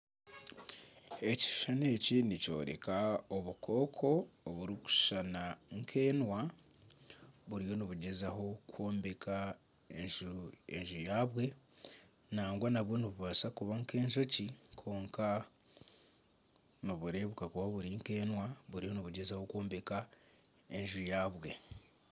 Ekishushani eki nikyoreka obukooko oburikushushana nkenwa buriyo nibugyezaho kwombeka enju yabwe nangwa nabwo nibubaasa kuba nkejoki kwonka nibureebeka kuba buri nkenwa buriyo nibugyezaho kwombeka enju yabwe .